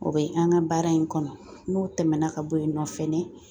O bɛ an ka baara in kɔnɔ n'o tɛmɛna ka bɔ yen nɔ fɛnɛ